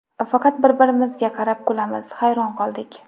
Faqat bir-birimizga qarab kulamiz, hayron qoldik.